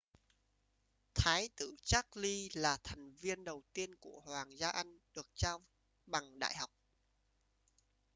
thái tử charles là thành viên đầu tiên của hoàng gia anh được trao bằng đại học